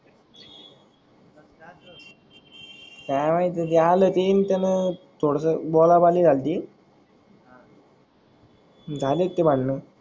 काय माहित जे आल ते येईतनच थोडस बोला बाली झालती झालेत ते भांडन.